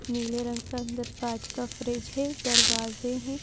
नीले रंग का अंदर काच का फ्रिज है दरवाजे हैं।